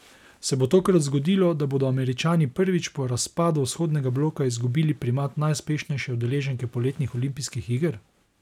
Se bo tokrat zgodilo, da bodo Američani prvič po razpadu vzhodnega bloka izgubili primat najuspešnejše udeleženke poletnih olimpijskih iger?